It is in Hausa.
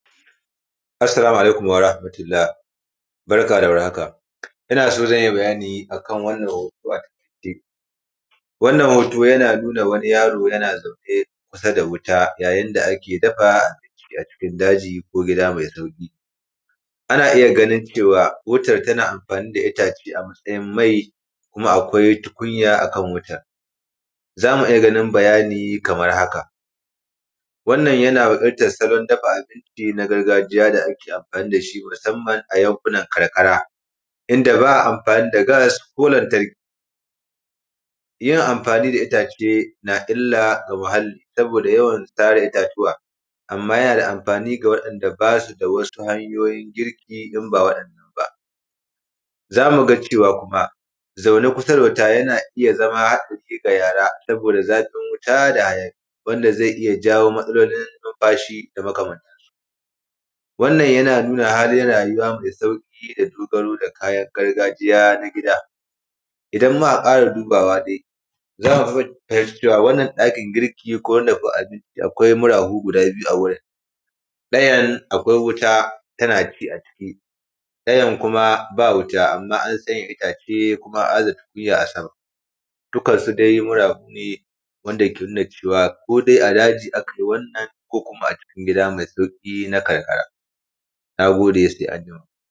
Assalamu alaikum warahmatullah, barka da war haka. Ina so zanji bayani akan wannan hoto ataƙaice. wannan hoto jana nuna wani yaro yana zaune, kusa da wuta yayin da ake dafa abinci:, acikin daji ko gida mai sauƙi. Ana iya: ganin cewa, wutan tana anfani da itace: amatsayin mai, kuma akwai tukunya akan wutan. Zamu iya: ganin bayani kamar haka. wannan yana hidda salon dafa abici, na gargajiya da ake anfani dashi. Musaman a yan kunan karkara. Inda ba anfani da gas ko lantarki. Yin anfani da itace, na illa ga muhalli. saboda yawan tara itatuwa. amma jana da anfani ga waɗan da basu da wasu, hanyoyin girki in ba waɗan nan ba. Zamu ga cewa kuma zaune kusa da wuta jana iya zama hatsari ga yaraa. Saboda zafin wuta da hayaƙi. wanda zai iya jayo matsalolin nufashi da maka man. wannan yana nuna halin rajuwa mai sauƙi, da dogaro da kayan gargajiya na gida. Idan muka ƙara dubawa de, zaku tabbatar cewa wannan ɗakin girki, ko wannan da ba abinci akʷai murafu guda biju awurin. ɗajan akwai wuta tanaci aciki. ɗayan kuma ba wuta amma an tsaja itace, kuma an aza tukunya asama. dukan su de murafu ne, wanda ke nuna cewa ko de adaji akayi wannan. Ko kuma acikin gida mai sauƙi na karkara. Nagode se anjima.